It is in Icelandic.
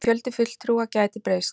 Fjöldi fulltrúa gæti breyst